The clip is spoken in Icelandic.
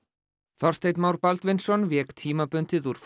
Þorsteinn Már Baldvinsson vék tímabundið úr